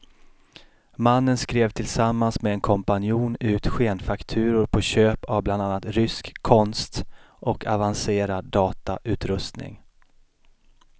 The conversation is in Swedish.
Mannen skrev tillsammans med en kompanjon ut skenfakturor på köp av bland annat rysk konst och avancerad datautrustning.